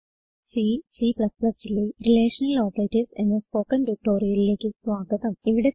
C C ലെ relational operators എന്ന spoken ട്യൂട്ടോറിയലിലേക്ക് സ്വാഗതം